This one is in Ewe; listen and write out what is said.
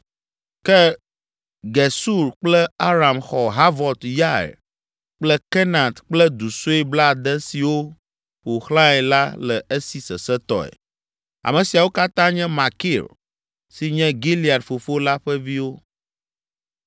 (Ke Gesur kple Aram xɔ Havot Yair kple Kenat kple du sue blaade siwo ƒo xlãe la le esi sesẽtɔe.) Ame siawo katã nye Makir, si nye Gilead fofo la ƒe viwo.